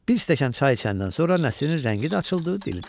Bir stəkan çay içəndən sonra Nəsrin rəngi də açıldı, dili də.